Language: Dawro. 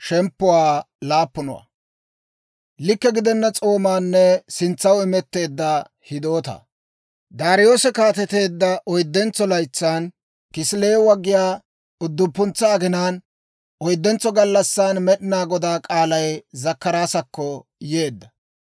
Daariyoose kaateteedda oyddentso laytsan, Kisileewa giyaa udduppuntsa aginaan, oyddentso gallassan Med'inaa Godaa k'aalay Zakkaraasakko yeedda.